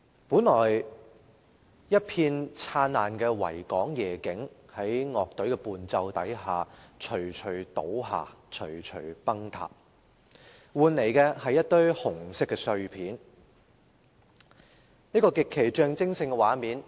本來一片燦爛的維港夜景在樂隊的伴奏下，徐徐倒下，徐徐崩塌，換來的是一堆紅色的碎片，一個極其象徵性的畫面。